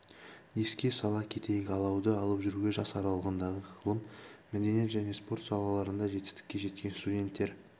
еске сала кетейік алауды алып жүруге жас аралығындағы ғылым мәдениет және спорт салаларында жетістікке жеткен студенттер